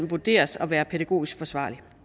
vurderes at være pædagogisk forsvarligt